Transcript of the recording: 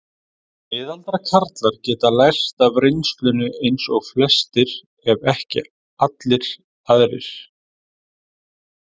Miðaldra karlar geta lært af reynslunni eins og flestir ef ekki allir aðrir.